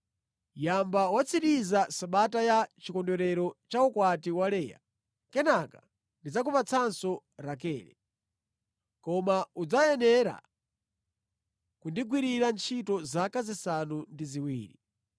Yamba watsiriza sabata ya chikondwerero cha ukwati wa Leya; kenaka ndidzakupatsanso Rakele. Koma udzayenera kundigwirira ntchito zaka zisanu ndi ziwiri.”